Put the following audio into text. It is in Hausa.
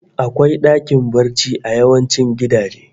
Akwai dakin barci a yawancin gidaje